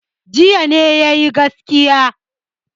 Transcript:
Jiya ne ya yi gaskiya.